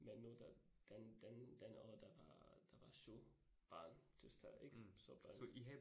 Men nu der den den den og der var der var 7 barn til stede ik så børn